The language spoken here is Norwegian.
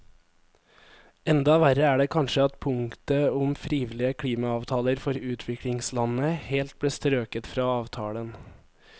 Enda verre er det kanskje at punktet om frivillige klimaavtaler for utviklingslandene helt ble strøket fra avtalen.